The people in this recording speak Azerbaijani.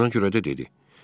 Buna görə də dedi.